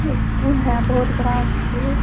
School है बहुत बड़ा स्कूल ।